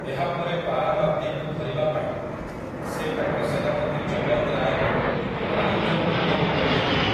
ଏହାପରେ ପାରାମାର୍ଦିକୁ ଧରିବା ପାଇଁ ସେ ତାଙ୍କ ସେନାପତି ଚୱନ୍ଦ୍ ରାୟଙ୍କୁ କାଲିଞ୍ଜର୍ ଦୁର୍ଗକୁ ପଠାଇଥିଲେ ।